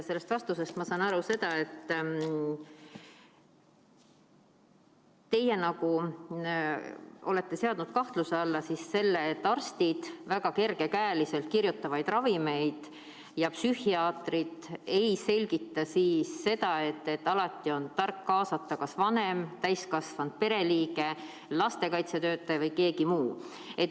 Sellest vastusest sain ma aru, et te olete seadnud kahtluse alla, justkui arstid kirjutaksid väga kergekäeliselt ravimeid välja ja psühhiaatrid ei selgitaks, et alati on tark kaasata kas vanem, mõni teine täiskasvanud pereliige, lastekaitsetöötaja või keegi muu.